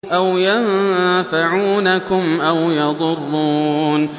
أَوْ يَنفَعُونَكُمْ أَوْ يَضُرُّونَ